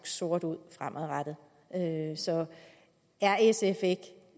sort ud fremadrettet er sf ikke